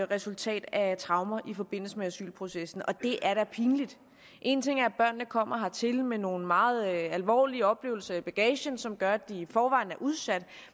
resultat af traumer i forbindelse med asylprocessen og det er da pinligt en ting er at kommer hertil med nogle meget alvorlige oplevelser i bagagen som gør at de i forvejen er udsat